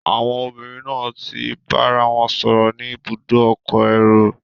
Àwon obìnrin náà ti bárawon sòrò ni ibùdó okò érò